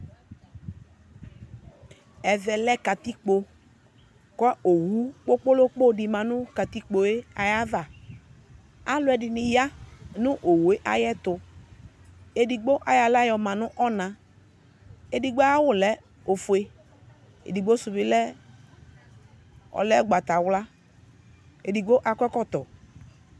Ɛvɛ lɛ katikpo kʋ owu kpokpolokpo dɩ ma nʋ katikpoe ayava Alʋɛdɩnɩ ya nʋ owue ayɛtʋ; edigbo ayɔ aɣla yɔ ma nʋ ɔna Edigbo ayawʋ lɛ ofue edigbo sʋ bɩ lɛ ɔlɛ ʋgbatawla , edigbo akɔ ɛkɔtɔ